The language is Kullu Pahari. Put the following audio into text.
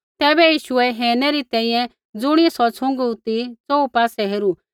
तैबै यीशुऐ हेरनै री तैंईंयैं ज़ुणियै सौ छ़ुँगू ती च़ोहू पासै हेरू